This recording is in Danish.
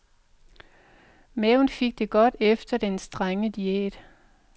Maven fik det godt efter den strenge diæt.